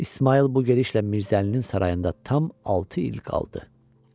İsmayıl bu gedişlə Mirzəlinin sarayında tam altı il qaldı.